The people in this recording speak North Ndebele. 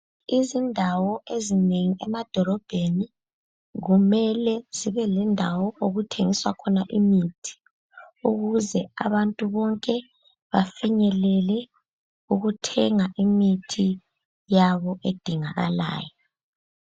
Izindawo ezinengi emadolobheni kumele zibe lendawo okuthengiswa khona imithi. Ukuze abantu bonke bafinyelele ukuthenga imithi yabo edingakalayo.